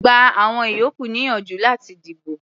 Gba àwọn ìyókù níyànjú láti dìbò.